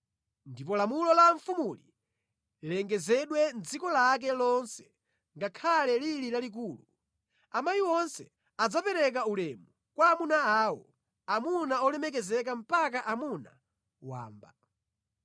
Ndipo lamulo la mfumuli lilengezedwa mʼdziko lake lonse ngakhale lili lalikulu, amayi onse adzapereka ulemu kwa amuna awo, amuna olemekezeka mpaka amuna wamba.”